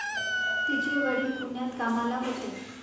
तिचे वडील पुण्यात कामाला होते.